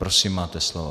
Prosím, máte slovo.